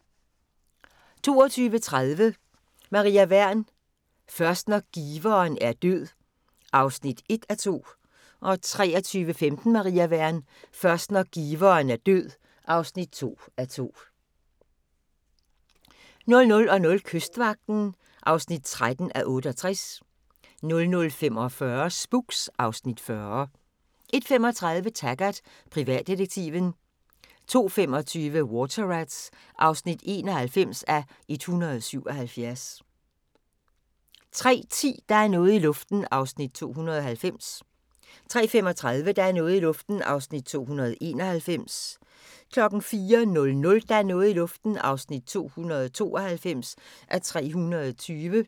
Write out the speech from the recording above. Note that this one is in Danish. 21:55: Madmagasinet 22:30: Maria Wern: Først når giveren er død (1:2) 23:15: Maria Wern: Først når giveren er død (2:2) 00:00: Kystvagten (13:68) 00:45: Spooks (Afs. 40) 01:35: Taggart: Privatdetektiven 02:25: Water Rats (91:177) 03:10: Der er noget i luften (290:320) 03:35: Der er noget i luften (291:320) 04:00: Der er noget i luften (292:320)